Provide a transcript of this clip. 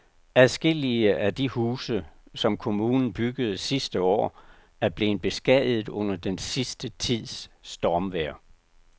Adskillige af de huse, som kommunen byggede sidste år, er blevet beskadiget under den sidste tids stormvejr.